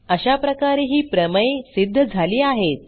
अशाप्रकारे ही प्रमेय सिध्द झाली आहेत